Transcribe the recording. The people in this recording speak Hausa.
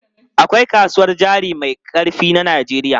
Akwai kasuwar jari mai ƙarfi na Najeriya.